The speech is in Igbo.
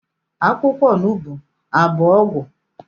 Akwukwo onugbu Abu ogwu?